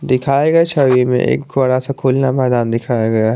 दिखाए गए छवि में एक थोड़ा सा खोलना मैदान दिखाया गया है।